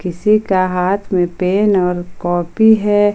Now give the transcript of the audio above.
किसी का हाथ में पेन और कॉपी है।